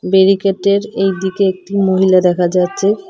ব্যারিকেটের এই দিকে একটি মহিলা দেখা যাচ্চে